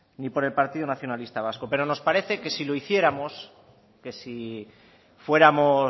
ni por el partido nacionalista vasco pero nos parece que si lo hiciéramos que si fuéramos